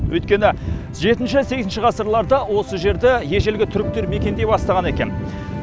өйткені жетінші сегізінші ғасырларда осы жерде ежелгі түріктер мекендей бастаған екен